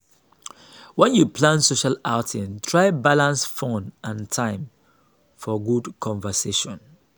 when you plan social outing try balance fun and time for good conversations.